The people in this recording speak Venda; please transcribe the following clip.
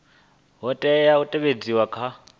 ha tea u teavhedzwa kha